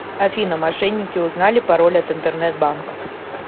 афина мошенники узнали пароль от интернет банка